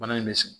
Bana in bɛ sigi